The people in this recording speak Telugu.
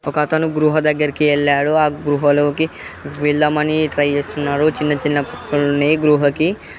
ఒక అతను గృహ దగ్గరికి వెళ్ళాడు. ఆ గృహలోకి వెళ్ళమని ట్రై చేస్తున్నాడు. చిన్నచిన్న బొక్కలు ఉన్నాయి గృహకి.